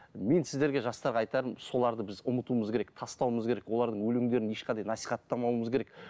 мен сіздерге жастарға айтарым соларды біз ұмытуымыз керек тастауымыз керек олардың өлеңдерін ешқандай насихаттамауымыз керек